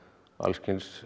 alls kyns